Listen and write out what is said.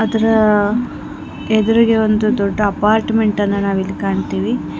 ಇದರ ಎದುರಿಗೆ ಒಂದು ದೊಡ್ಡ ಅಪಾರ್ಟ್ಮೆಂಟ್ ಅನ್ನ ನಾವ್ ಇಲ್ಲಿ ಕಾಣ್ತಿವೆ.